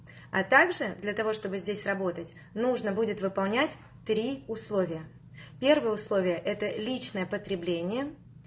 а также для того чтобы здесь работать нужно будет выполнять три условия первое условие это личное потребление